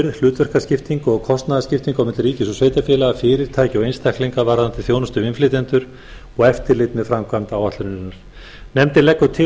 hlutverkaskiptingu og kostnaðarskiptingu á milli ríkis og sveitarfélaga fyrirtækja og einstaklinga varðandi þjónustu við innflytjendur og eftirlit með framkvæmd áætlunarinnar nefndin leggur til